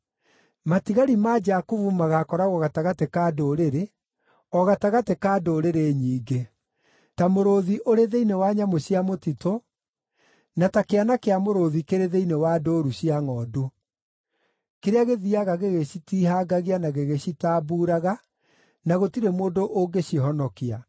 Matigari ma Jakubu magaakoragwo gatagatĩ ka ndũrĩrĩ, o gatagatĩ ka ndũrĩrĩ nyingĩ, ta mũrũũthi ũrĩ thĩinĩ wa nyamũ cia mũtitũ, na ta kĩana kĩa mũrũũthi kĩrĩ thĩinĩ wa ndũũru cia ngʼondu, kĩrĩa gĩthiiaga gĩgĩcitihangagia na gĩgĩcitambuuraga na gũtirĩ mũndũ ũngĩcihonokia.